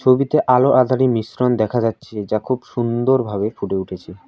ছবিতে আলো আঁধারি মিশ্রণ দেখা যাচ্ছে যা খুব সুন্দরভাবে ফুটে উঠেছে।